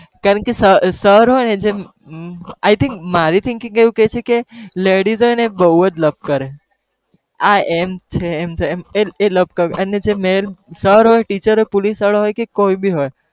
કારણ કે sir હોય જ I think મારી thinking એવું કેહે છે કે ladies હોઈ ને એ બઉજ લપ કરે આ એમ છે એમ છે એ એ લપ અને જે male sir હોય teacher હોય police વાળો હોય કે કોઈ બી હોય.